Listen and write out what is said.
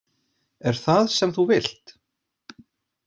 Er það sem þú vilt?